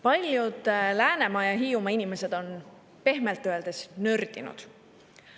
Paljud Läänemaa ja Hiiumaa inimesed on pehmelt öeldes nördinud.